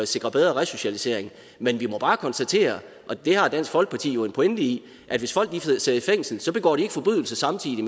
sikre bedre resocialisering men vi må bare konstatere og det har dansk folkeparti jo en pointe i at hvis folk sidder i fængsel så begår de ikke forbrydelser samtidig